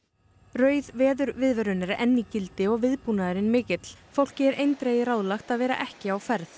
rauð veðurviðvörun er enn í gildi og viðbúnaðurinn mikill fólki er eindregið ráðlagt að vera ekki á ferð